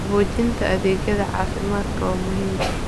Qaboojinta adeegyada caafimaadka waa muhiim.